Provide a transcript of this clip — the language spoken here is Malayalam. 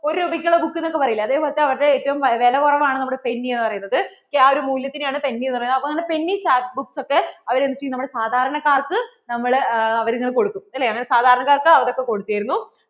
ഒരു രൂപയ്ക്ക് ഉള്ള book എന്ന് ഒക്കെ പറയില്ലേ അതേപോലത്തെ അവരുടെ ഏറ്റവും വിലക്കുറവാണ് നമ്മടെ penny എന്ന് പറയുന്നത് ആ ഒരു മൂല്യത്തിനെയാണ് penny എന്ന് പറയണത്. അപ്പോ അങ്ങനെ penny chap books അവർ എന്ത് ചെയ്യും നമ്മടെ സാധാരണക്കാര്‍ക്ക് നമ്മൾ അവർ ഇങ്ങനെ കൊടുക്കും അല്ലെ അവർ സാധാരണക്കാർക്ക് കൊടുത്തിരുന്നു.